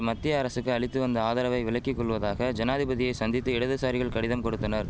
மத்திய அரசுக்கு அளித்து வந்த ஆதரவை விலக்கிகொள்வதாக ஜனாதிபதியை சந்தித்து இடதுசாரிகள் கடிதம் கொடுத்தனர்